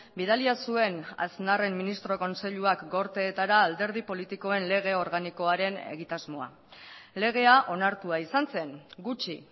bidalia zuen aznarren ministro kontseiluak gorteetara alderdi politikoen lege organikoaren egitasmoa legea onartua izan zen gutxi